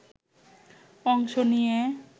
অংশ নিয়ে